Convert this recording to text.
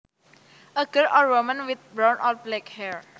A girl or woman with brown or black hair